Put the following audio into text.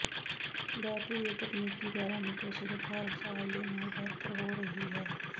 battery ਦੇ ਤਕਨੀਕੀ parameter ਸਿਰਫ ਹਰ ਸਾਲ ਦੇ ਨਾਲ ਬਿਹਤਰ ਹੋ ਰਹੀ ਹੈ